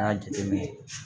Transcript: An ka jateminɛ